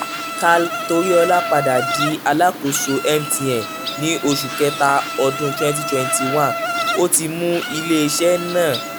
karl toriola padà di alakoso mtn ni oṣu kẹta ọdun 2021 o ti mu ile-iṣẹ naa